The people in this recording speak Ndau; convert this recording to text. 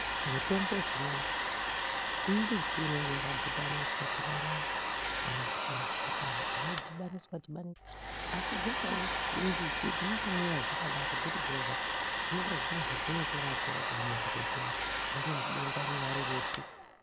Mutombo wechivanhu mimbiti inenge yakadhinaniswa dhibaniswa kana kuti mashakani anodhibaniswa dhibaniswa asi dzimweni mbiti dzinotomwiwa dzakadaro dziri dzega dzinonga dzine zvadzinotorapawo pamuntu zviya rinyari denda rinyari ripi.